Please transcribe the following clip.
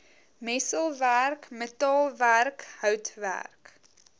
messelwerk metaalwerk houtwerk